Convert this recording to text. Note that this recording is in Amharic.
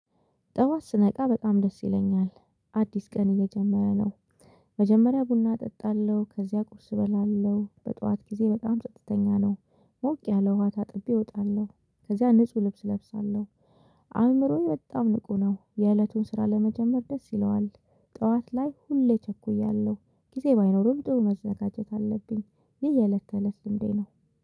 ጠዋት ስነቃ በጣም ደስ ይለኛል አዲስ ቀን እየጀመረ ነው። መጀመሪያ ቡና እጠጣለሁ ከዚያ ቁርስ እበላለሁ በጧት ጊዜ በጣም ስድስተኛ ነው። ሞቅ ያለ ውሃ ታጥቤ እወጣለሁ ከዚያ ንጹህ ልብስ እለብሳለሁ። አእምሮዬ በጣም ንቁ ነው የእለቱን ስራ ለመጀመር ደስ ይለዋል። ጠዋት ላይ ሁሌ ቸኩያለሁ ጊዜ ባይኖርም ጥሩ መዘጋጀት አለብኝ። ይህ የእለት ከእለት ልምዴ ነው።